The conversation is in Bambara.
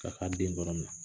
K'a ka den ?